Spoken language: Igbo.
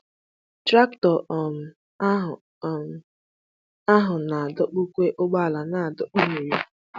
Traktọ um ahụ um ahụ na-adọkpụkwa ụgbọala na-adọkpụ nri.